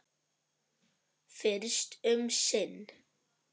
Fyrst um sinn.